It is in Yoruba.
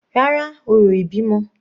Rárá, orò ìbímọ